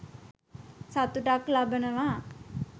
සතුටක් ලබනවා.